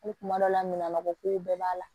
Ko kuma dɔ la min ma bɔ kow bɛɛ b'a la